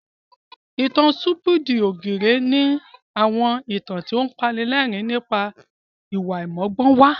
Ìtàn Sítúpídì ògìrè ni àwọn ìtàn tó apanilẹ́rìn nípa ìwà àìmọ́gbọ́nwá